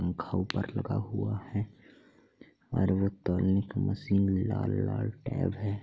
पंखा ऊपर लगा हुआ है और वो तोलने की मशीन लाल-लाल टैब है।